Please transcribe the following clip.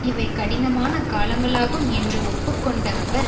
இவை கடினமான காலங்களாகும் என்று ஒப்பு கொண்ட அவர்